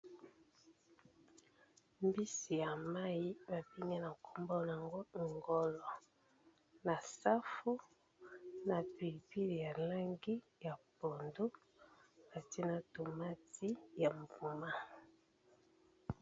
Mbisi ya mayi ba bengi na kombo nango ngolo, na safu, na pili pili ya langi ya pondu batie na tomati ya mbuma.